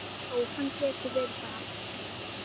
Já, hann getur verið það.